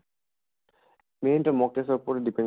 main তোৰ mock test ৰ ওপৰত depend